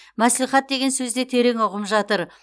мәслихат деген сөзде терең ұғым жатыр